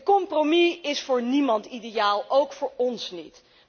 Een compromis is voor niemand ideaal, ook voor ons niet.